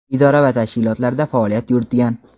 idora va tashkilotlarda faoliyat yuritgan.